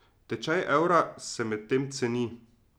Tečaj evra se medtem ceni.